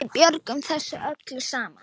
Við björgum þessu öllu saman.